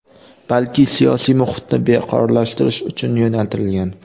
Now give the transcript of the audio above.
balki siyosiy muhitni beqarorlashtirish uchun yo‘naltirilgan.